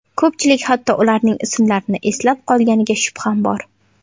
Ko‘pchilik hatto ularning ismlarini eslab qolganiga shubham bor.